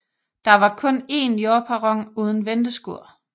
Der var kun en jordperron uden venteskur